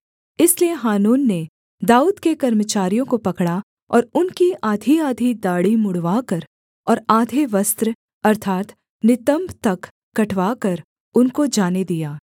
इसलिए हानून ने दाऊद के कर्मचारियों को पकड़ा और उनकी आधीआधी दाढ़ी मुँण्डवाकर और आधे वस्त्र अर्थात् नितम्ब तक कटवाकर उनको जाने दिया